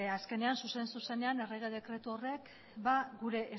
azkenean zuzen zuzenean errege dekretu horrek gure